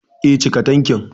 Eh, cika tankin